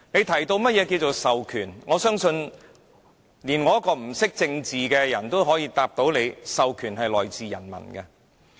他又提及何謂"授權"，但我相信即使不懂政治的人也能知道，權力是由人民授予。